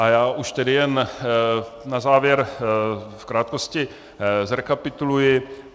A já už tedy jen na závěr v krátkosti zrekapituluji.